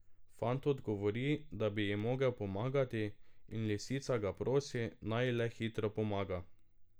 Fant odgovori, da bi ji mogel pomagati, in lisica ga prosi, naj ji le hitro pomaga.